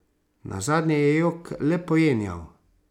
Nazadnje je jok le pojenjal.